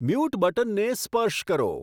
mute બટનને સ્પર્શ કરો